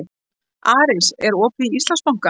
Aris, er opið í Íslandsbanka?